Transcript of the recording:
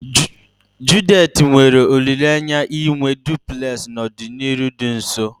Judith nwere olileanya inwe duplulesi n'ọdịnihu dị nso